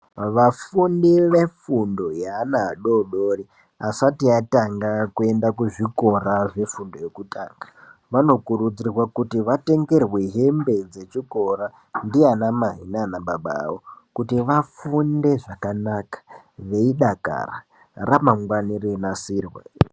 Vafundi vefundo yeana adodori asati atanga kuenda kuzvikora zvefundo yekutanga. Vanokurudzira kuti vatengerwe hembe dzechikora ndianamai nanababa avo. Kuti vafunde zvakanaka veidakara ramangwani reinasirwa.